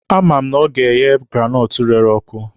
A ma m na ọ ga-eghe granọtụ rere ọkụ.